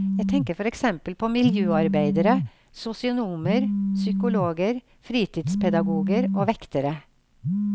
Jeg tenker for eksempel på miljøarbeidere, sosionomer, psykologer, fritidspedagoger og vektere.